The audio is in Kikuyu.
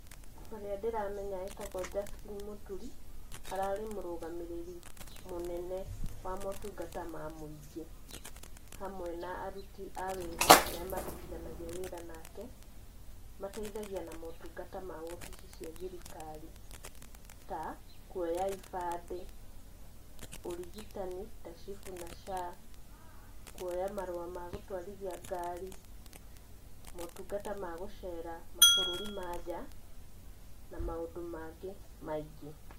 Ũrĩa ndĩramenya etagwo Justin Muturi, ararĩ mũrũgamĩrĩri mũnene wa motungata ma mũingĩ, hamwe na aruti a wĩra arĩa marutithanagia wĩra nake, mateithagia na motungata ma obici cia thirikari, ta, kũoya ibande, ũrigitani ta SHIF na SHA , kũoya marũa ma gũtwarithia ngari, motungata ma gũcera mabũrũri ma nja, na maũndũ mangĩ maingĩ.